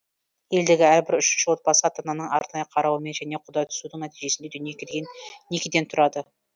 елдегі әрбір үшінші отбасы ата ананың арнайы қарауымен және құда түсудің нәтижесінде дүниеге келген некеден тұрады